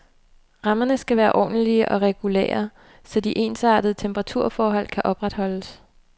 Rammerne skal være ordentlige og regulære, så de ensartede temperaturforhold kan opretholdes.